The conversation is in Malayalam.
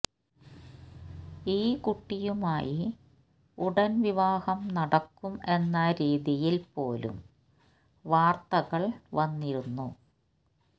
ഈ കുട്ടിയുമായി ഉടന് വിവാഹം നടക്കും എന്ന രീതിയില് പോലും വാര്ത്തകള് വന്നിരുന്നു